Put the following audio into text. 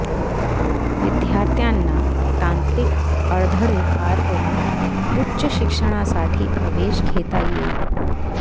विद्यार्थ्यांना तांत्रिक अडधळे पार करून उच्च शिक्षणासाठी प्रवेश घेता येईल